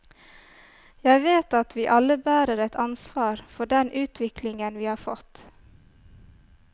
Jeg vet at vi alle bærer et ansvar for den utviklingen vi har fått.